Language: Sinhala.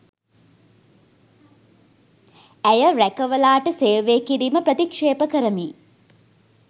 ඇය රැකවලාට සේවය කිරීම ප්‍රතික්ෂේප කරමි